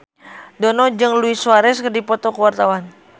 Dono jeung Luis Suarez keur dipoto ku wartawan